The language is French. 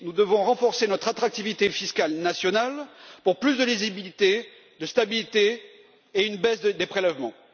Nous devons renforcer notre attractivité fiscale nationale pour plus de lisibilité et de stabilité, notamment par une baisse des prélèvements.